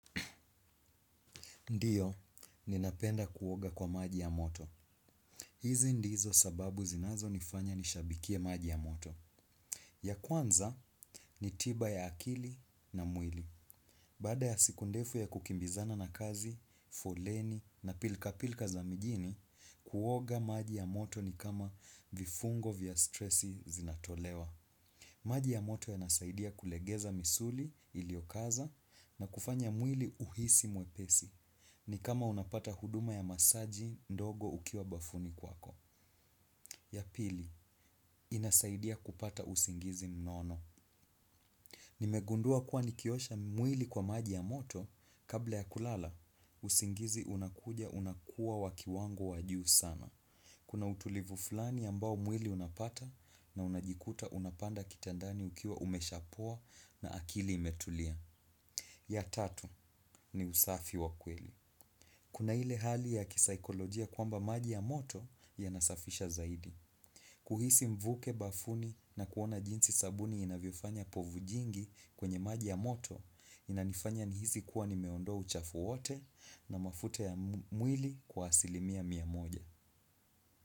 Ndiyo, ninapenda kuoga kwa maji ya moto. Hizi ndizo sababu zinazonifanya nishabikie maji ya moto. Ya kwanza, ni tiba ya akili na mwili. Bada ya siku ndefu ya kukimbizana na kazi, foleni na pilkapilka za mijini, kuoga maji ya moto ni kama vifungo vya stressi zinatolewa. Maji ya moto yanasaidia kulegeza misuli iliokaza na kufanya mwili uhisi mwepesi. Ni kama unapata huduma ya masaji ndogo ukiwa bafuni kwako. Ya pili, inasaidia kupata usingizi mnono. Nimegundua kuwa nikiosha mwili kwa maji ya moto, kabla ya kulala, usingizi unakuja unakuwa wa kiwango wa juu sana. Kuna utulivu fulani ambao mwili unapata, na unajikuta unapanda kitandani ukiwa umeshapoa na akili imetulia. Ya tatu, ni usafi wa kweli. Kuna ile hali ya kisaikolojia kwamba maji ya moto yanasafisha zaidi. Kuhisi mvuke bafuni na kuona jinsi sabuni inavyofanya povu jingi kwenye maji ya moto inanifanya nihisi kuwa nimeondoa uchafu wote na mafute ya mwili kwa asilimia mia moja.